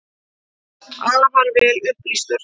Afar vel upplýstur.